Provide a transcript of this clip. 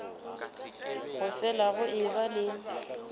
go fele go eba le